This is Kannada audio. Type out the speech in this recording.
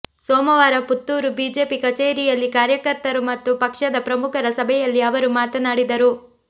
ಸೋಮವಾರ ಪುತ್ತೂರು ಬಿಜೆಪಿ ಕಚೇರಿಯಲ್ಲಿ ಕಾರ್ಯಕರ್ತರು ಮತ್ತು ಪಕ್ಷದ ಪ್ರಮುಖರ ಸಭೆಯಲ್ಲಿ ಅವರು ಮಾತನಾಡಿದರು